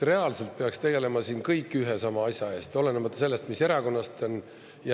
Reaalselt peaks tegelema kõik ühe ja sama asja eest, olenemata sellest, mis erakonnast ta on.